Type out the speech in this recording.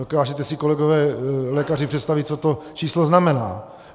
Dokážete si, kolegové lékaři, představit, co to číslo znamená.